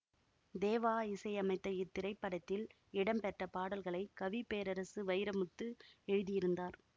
தேவா இசையமைத்த இத்திரைப்படத்தில் இடம்பெற்ற பாடல்களை கவி பேரரசு வைரமுத்து எழுதியிருந்தார்